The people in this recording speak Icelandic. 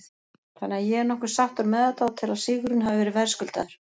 Þannig að ég er nokkuð sáttur með þetta og tel að sigurinn hafi verið verðskuldaður.